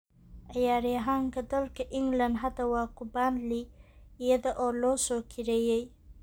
Ciyaaryahankaa dalka England hadda waa ku Burnley iyada oo la soo kirayray.